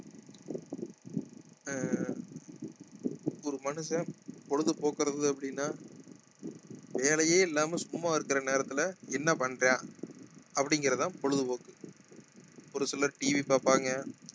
ஆஹ் ஒரு மனுஷன் பொழுது போக்குறது அப்படின்னா வேலையே இல்லாமல் சும்மா இருக்கிற நேரத்துல என்ன பண்றான் அப்படிங்கிறதுதான் பொழுதுபோக்கு ஒரு சிலர் TV பார்ப்பாங்க